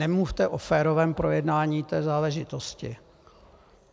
Nemluvte o férovém projednání této záležitosti.